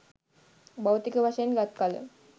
භෞතික වශයෙන් ගත් කල,